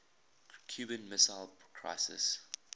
cuban missile crisis